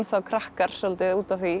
krakkar svolítið út af því